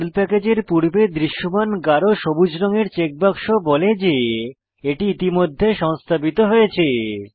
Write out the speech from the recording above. pearl প্যাকেজের পূর্বে দৃশ্যমান গাঢ় সবুজ রঙের চেকবাক্স বলে যে এটি ইতিমধ্যে সংস্থাপিত হয়েছে